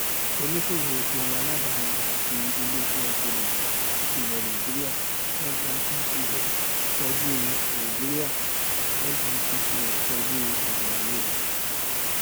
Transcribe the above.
oníṣòwò epo aládàáni àti ilé iṣẹ epo rọbì tí ilẹ nàìjíríà nnpcl kojú nàìjíríà nnpcl kojú èdèaiyedè